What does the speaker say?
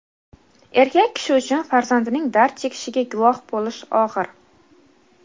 Erkak kishi uchun farzandining dard chekishiga guvoh bo‘lish og‘ir.